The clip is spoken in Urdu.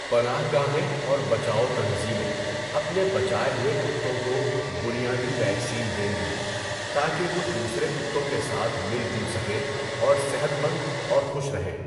پناہ گاہیں اور بچاؤ تنظیمیں اپنے بچائے ہوئے کتوں کو 'بنیادی ویکسین' دیں گی تاکہ وہ دوسرے کتوں کے ساتھ مل جل سکیں اور صحت مند اور خوش رہیں۔